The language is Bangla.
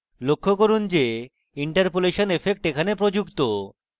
লক্ষ্য করুন যে interpolation effect এখানে প্রযুক্ত